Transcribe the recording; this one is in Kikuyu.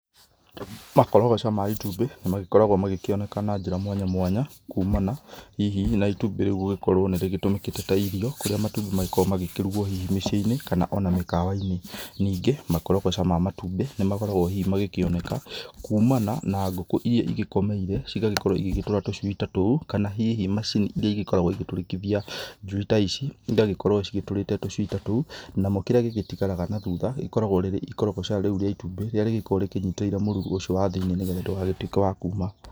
Makorogoca ma itumbĩ nĩ magĩkoragwo magĩkĩoneka na njĩra mwanya mwanya, kumana hihi na itũmbĩ rĩu gũgĩkorwo nĩ rĩgĩtũmĩkĩte ta irio, kũrĩa hihĩ matũmbĩ magĩkoragwo makĩrugwo hihi mĩciĩ-inĩ, kana o na mĩkawa-inĩ. Ningĩ makorogoca ma matumbĩ nĩ makoragwo hihi magĩkĩoneka, kumana na ngũkũ iria igĩkomeire cigagĩkorwo igĩgĩtũra tũcui ta tou, kana hihi macini iria igĩkoragwo igĩtũrĩkithia njui ta ici, igagĩkorwo cigĩtũrĩte tũcui ta tou, namo kĩrĩa gĩgĩtigaraga na thutha gĩgĩkoragwo rĩrĩ ikorogoca rĩu rĩa itumbĩ rĩrĩa gĩgĩkoragwo rĩkĩnyitĩrĩire mũruru ũcio wa thĩ-inĩ nĩ getha ndũgagĩtuĩke wa kuma.